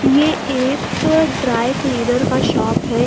ये एक dry cleaner का शॉप है।